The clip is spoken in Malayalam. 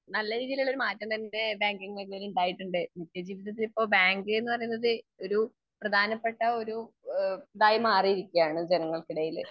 നല്ല രീതിയിലുള്ള ഒരു മാറ്റം തന്നെ ബാങ്കിങ് മേഖലയിൽ ഉണ്ടായിട്ടുണ്ട്. നിത്യ ജീവിതത്തിൽ ഇപ്പൊ ബാങ്ക്ന്ന് പറയുന്നത് ഒരു പ്രധാനപ്പെട്ട ഒരു ഏഹ് ഇതായി മാറിയിരിക്കയാണ് ജനങ്ങൾക്കിടയില്.